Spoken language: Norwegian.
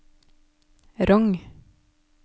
Rong